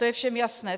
To je všem jasné.